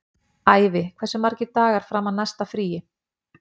Ævi, hversu margir dagar fram að næsta fríi?